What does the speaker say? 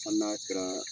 Hali n'a kɛra